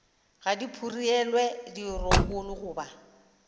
ga di phurelwe dirokolo goba